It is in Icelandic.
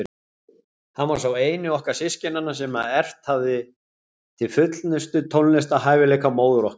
Hann var sá eini okkar systkinanna sem erft hafði til fullnustu tónlistarhæfileika móður okkar.